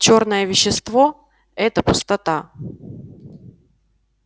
чёрное вещество это пустота